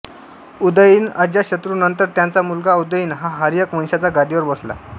उदयीन अजातशत्रूनंतर त्याचा मुलगा उदयीन हा हर्यक वंशाच्या गादीवर बसला